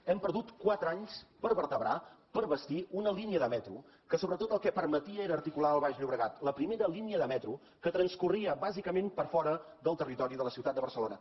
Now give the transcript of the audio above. hem perdut quatre anys per vertebrar pes bastir una línia de metro que sobretot el que permetia era articular el baix llobregat la primera línia de metro que transcorria bàsicament per fora del territori de la ciutat de barcelona